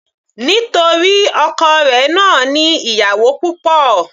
Nítorí ọkọ rẹ̀ náà ní ìyàwó púpọ̀.